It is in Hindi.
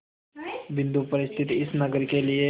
बिंदु पर स्थित इस नगर के लिए